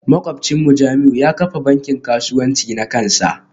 Makwabcinmu Jamiu yana kafa bankin kasuwanci na kansa